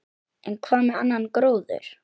En hvað með annan gróður?